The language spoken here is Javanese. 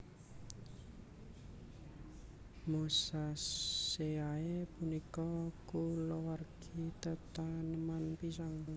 Musaceae punika kulawargi tetaneman pisang